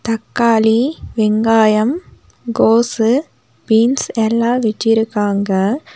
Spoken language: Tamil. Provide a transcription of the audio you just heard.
அக்காளி வெங்காயம் கோஸு பீன்ஸ் எல்லா வெச்சிருக்காங்க.